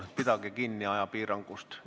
Palun pidage kinni ajapiirangust!